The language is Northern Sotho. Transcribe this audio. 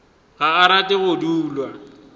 ga a rate go dulwa